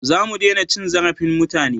Za mu dena cin zarafin mutane